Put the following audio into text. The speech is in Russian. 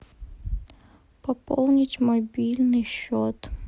пополнить мобильный счет